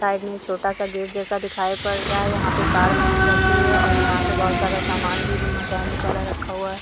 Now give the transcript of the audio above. Side में एक छोटा-सा गेट जैसा दिखाई पड़ रहा है। यहाँ पे कार बनाई जाती है और यहाँ पे बहोत सारा सामान भी मैकेनिक वाला रखा हुआ है।